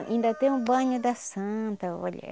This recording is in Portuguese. Ainda tem o banho da Santa, olha